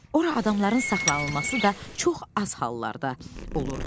Ora adamların saxlanılması da çox az hallarda olurdu.